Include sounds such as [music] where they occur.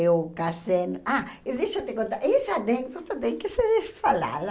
Eu casei... Ah, e deixa eu te contar essa [unintelligible] também que você deixou de falar.